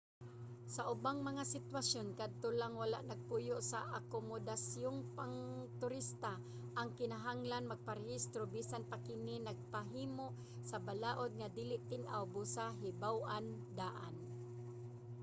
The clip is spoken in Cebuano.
sa ubang mga sitwasyon kadto lang wala nagpuyo sa akomodasyong pangturista ang kinahanglan magparehistro. bisan pa kini nakapahimo sa balaod nga dili tin-aw busa hibaw-a daan